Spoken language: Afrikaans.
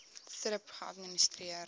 thrip geadministreer